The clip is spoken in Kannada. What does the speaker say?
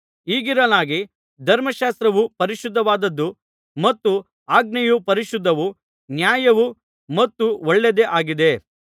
ಹೀಗಿರಲಾಗಿ ಧರ್ಮಶಾಸ್ತ್ರವು ಪರಿಶುದ್ಧವಾದದ್ದು ಮತ್ತು ಆಜ್ಞೆಯು ಪರಿಶುದ್ಧವೂ ನ್ಯಾಯವೂ ಮತ್ತು ಒಳ್ಳೆಯದೇ ಆಗಿದೆ